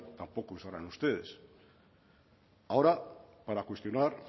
tampoco usarán ustedes ahora para cuestionar